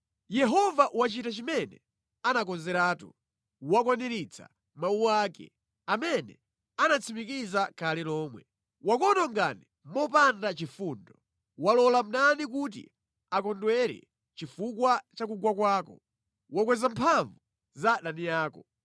Yehova wachita chimene anakonzeratu; wakwaniritsa mawu ake, amene anatsimikiza kale lomwe. Wakuwononga mopanda chifundo, walola mdani kuti akondwere chifukwa cha kugwa kwako, wakweza mphamvu za adani ako.